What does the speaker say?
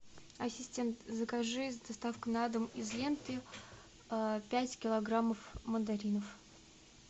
ассистент закажи с доставкой на дом из ленты пять килограммов мандаринов